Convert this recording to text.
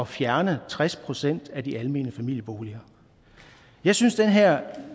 fjerne tres procent af de almene familieboliger jeg synes den her